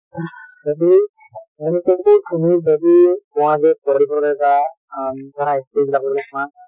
যদি তুমি যদি পোৱা যে পঢ়িবলে বা আ ধৰা history বিলাক যদি চোৱা